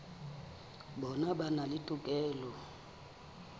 bona ba na le tokelo